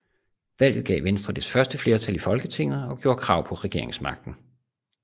Valget gav Venstre dets første flertal i Folketinget og gjorde krav på regeringsmagten